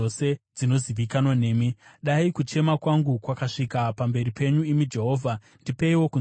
Dai kuchema kwangu kwasvika pamberi penyu, imi Jehovha; ndipeiwo kunzwisisa maererano neshoko renyu.